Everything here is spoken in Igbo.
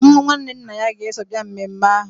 Nwa nwanne nna ya ga-eso bịa mmemme ahụ.